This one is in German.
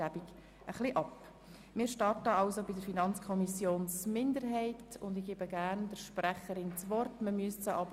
Deshalb wechsele ich bei der Worterteilung etwas ab.